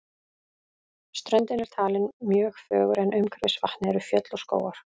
Ströndin er talin mjög fögur en umhverfis vatnið eru fjöll og skógar.